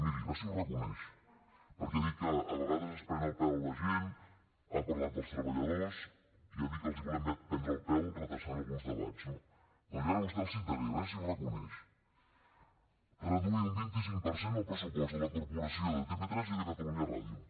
miri a veure si ho reconeix perquè ha dit que a vegades es pren el pèl a la gent ha parlat dels treballadors i ha dit que els hi volem prendre el pèl retardant alguns debats no doncs jo ara a vostè el citaré a veure si ho reconeix reduir un vint cinc per cent el pressupost de la corporació de tv3 i de catalunya ràdio